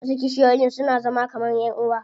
Wasu kishiyoyin suna zama kaman ƴan uwa.